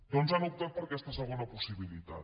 doncs han optat per aquesta segona possibilitat